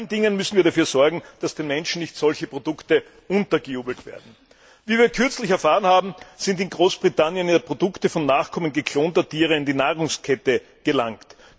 Vor allen Dingen müssen wir dafür sorgen, dass den Menschen solche Produkte nicht untergejubelt werden. Wie wir kürzlich erfahren haben, sind in Großbritannien Produkte von Nachkommen geklonter Tiere in die Nahrungskette gelangt.